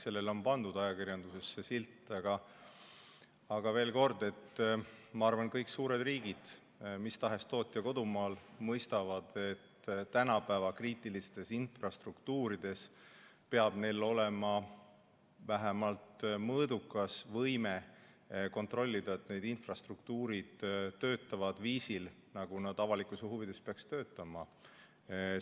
Sellele on pandud ajakirjanduses see silt, aga veel kord: ma arvan, et kõik suured riigid, mis tahes tootja kodumaa, mõistavad, et tänapäeva kriitilistes infrastruktuurides peab neil olema vähemalt mõõdukas võime kontrollida, et need infrastruktuurid töötavad viisil, nagu nad avalikkuse huvides peaksid töötama.